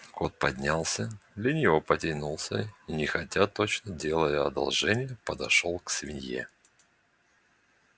кот поднялся лениво потянулся и нехотя точно делая одолжение подошёл к свинье